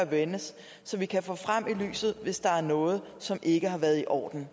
vendes så vi kan få det frem i lyset hvis der er noget som ikke har været i orden